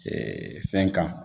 fɛn kan